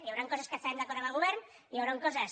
hi hauran coses que estarem d’acord amb el govern hi hauran co ses